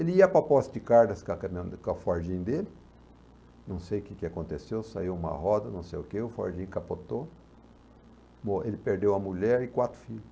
Ele ia para a Posse de Caldas com a caminho com a fordinha dele, não sei o que aconteceu, saiu uma roda, não sei o que, o fordinho capotou, morreu ele perdeu a mulher e quatro filhos.